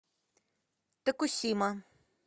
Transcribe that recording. токусима